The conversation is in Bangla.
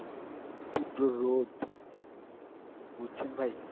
তীব্র রোদ, বুঝছেন ভাই?